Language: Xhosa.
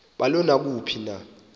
balo naluphi na